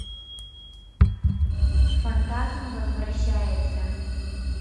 фантазм возвращается